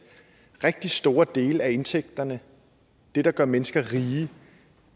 rigtig store dele af indtægterne det der gør mennesker rige